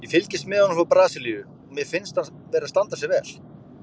Ég fylgist með honum frá Brasilíu og mér finnst hann vera að standa sig vel.